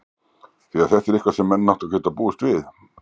því þetta er eitthvað sem að menn áttu að geta búist við?